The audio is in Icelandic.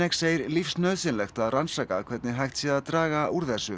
segir lífsnauðsynlegt að rannsaka hvernig hægt sé að draga úr þessu